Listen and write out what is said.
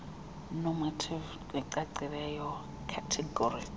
normative necacileyo categorical